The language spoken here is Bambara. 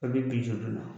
A bɛ binju na